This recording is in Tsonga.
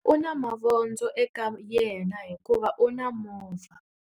U na mavondzo eka yena hikuva u na movha.